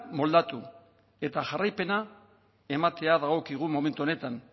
moldatu eta jarraipena ematea dagokigun momentu honetan